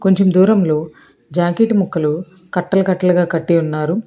కొంచెం దూరంలో జాకెట్ ముక్కలు కట్టలకట్టలగా కట్టి ఉన్నారు.